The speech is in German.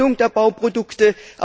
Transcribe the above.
der Erstellung der Bauprodukte.